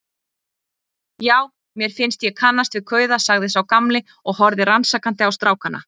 Já, mér fannst ég kannast við kauða sagði sá gamli og horfði rannsakandi á strákana.